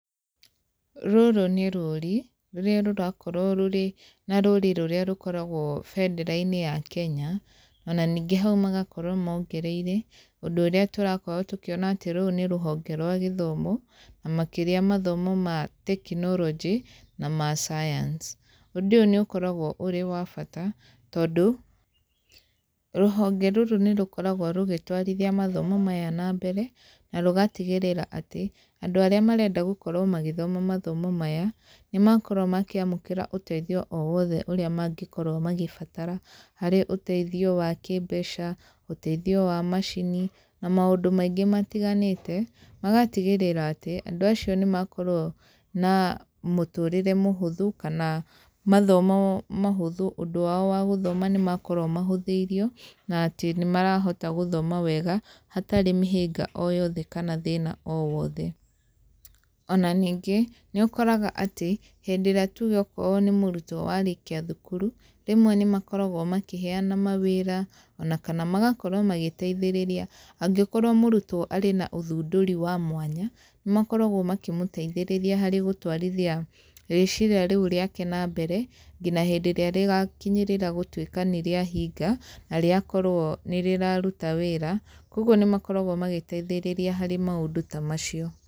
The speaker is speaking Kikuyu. Rũrũ nĩ rũri, rũrĩa rũrakorwo rũrĩ na rũrĩ rũrĩa rũkoragwo bendera-inĩ ya Kenya, ona ningĩ hau magakorwo mongereire, ũndũ ũrĩa tũrakorwo tũkĩona atĩ rũrũ nĩ rũhonge rwa gĩthomo, na makĩria mathomo ma tekinoronjĩ, na ma science. Ũndúũũyũ nĩ ũkoragwo ũrĩ wa bata, tondũ, rũhonge rũrũ nĩ rũkoragwo rũgĩtwarithia mathomo maya na mbere, na rũgatigĩrĩra atĩ, andũ arĩa marenda gũkorwo magĩthoma mathomo maya, nĩ makorwo makĩamũkĩra ũteithio o wothe ũrĩa mangĩkorwo magĩbatara harĩ ũteithio wa kĩmbeca, ũteithio wa macini, na maũndũ maingĩ matiganĩte. Magatigĩrĩra atĩ, andũ acio nĩ makorwo na mũtũrĩre mũhũthũ, kana mathomo mahũthũ ũndũ wao wa gũthoma nĩ makorwo mahũthĩirio, na atĩ nĩ marahota gũthoma wega, hatarĩ mĩhĩnga o yothe kana thĩna o wothe. Ona ningĩ, nĩ ũkoraga atĩ, hĩndĩ ĩrĩa tuge okorwo nĩ mũrutwo warĩkia thukuru, rĩmwe nĩ makoragwo makĩheana mawĩra, ona kana magakorwo magĩteithĩrĩria. Angĩkorwo mũrutwo ararĩ na ũthundũri wa mwanya, nĩ makoragwo makĩmũteithĩrĩria harĩ gũtwarithia rĩciria rĩu rĩake na mbere, ngina hĩndĩ ĩrĩa rĩgakinyĩrĩra gũtuĩka nĩ rĩahinga, na rĩakorwo nĩ rĩraruta wĩra. Kũguo nĩ makoragwo magĩteithĩrĩria harĩ maũndũ ta macio.